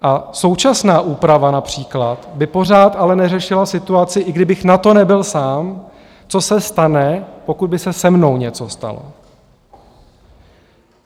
A současná úprava například by pořád ale neřešila situaci, i kdybych na to nebyl sám, co se stane, pokud by se se mnou něco stalo.